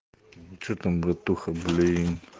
что там братуха блиин